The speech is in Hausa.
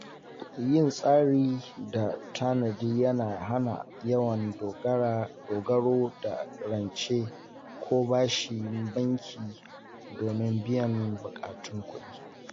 Yin tsari da tanadi yana hana yawan dogaro da rance ko bashin banki domin biyan buƙatun kuɗi.